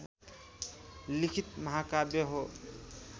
लिखित महाकाव्य हो